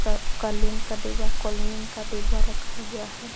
ऊपर कलिन का डिब्बा कोलिन का डिब्बा रखा हुआ है।